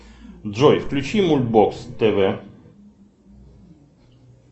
джой включи мульт бокс тв